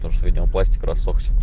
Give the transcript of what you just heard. потому что видимо пластик рассохся